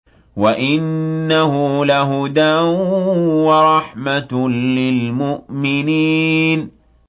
وَإِنَّهُ لَهُدًى وَرَحْمَةٌ لِّلْمُؤْمِنِينَ